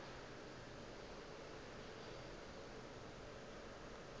go be go se na